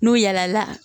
N'u yɛlɛla